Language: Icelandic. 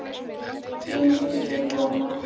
Þín systir, Jóna.